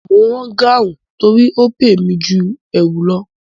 Mo ń rán gáhùn torí ó pé mi ju ẹ̀wù lọ